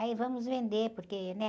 Aí vamos vender, porque, né?